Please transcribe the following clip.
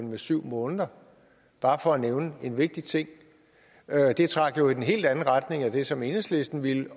med syv måneder bare for at nævne en vigtig ting det trak jo i den helt anden retning end det som enhedslisten ville